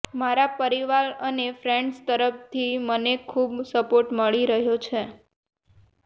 મારા પરિવાર અને ફ્રેંડ્સ તરફથી મને ખૂબ સપોર્ટ મળી રહ્યો છે